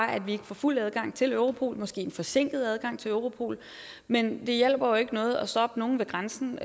at vi ikke får fuld adgang til europol måske en forsinket adgang til europol men det hjælper jo ikke noget at stoppe nogen ved grænsen